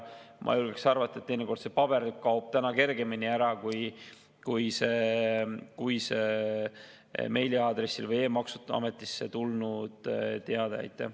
Ma julgen arvata, et teinekord see paber kaob kergemini ära kui meiliaadressile või e-maksuametisse tulnud teade.